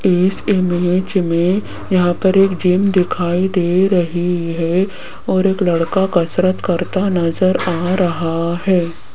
इस इमेज में यहां पर एक जिम दिखाई दे रही है और एक लड़का कसरत करता नजर आ रहा है।